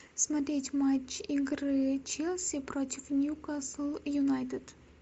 смотреть матч игры челси против ньюкасл юнайтед